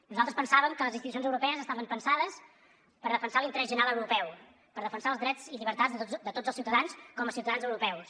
nosaltres pensàvem que les institucions europees estaven pensades per defensar l’interès general europeu per defensar els drets i llibertats de tots els ciutadans com a ciutadans europeus